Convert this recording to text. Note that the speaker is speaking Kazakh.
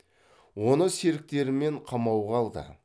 оны серіктерімен қамауға алды